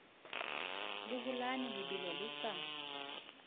le holane lebelo re sa